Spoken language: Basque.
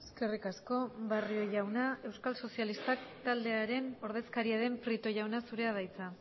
eskerrik asko barrio jauna euskal sozialistak taldearen ordezkaria den prieto jauna zurea da hitza